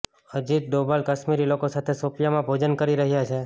અજીત ડોભાલ કાશ્મીરી લોકો સાથે શોપિયામાં ભોજન કરી રહ્યા છે